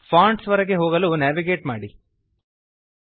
fonts ವರೆಗೆ ಹೋಗಲು navigate ಮಾಡಿರಿ